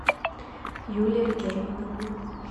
юлия германовна